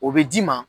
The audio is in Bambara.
O bɛ d'i ma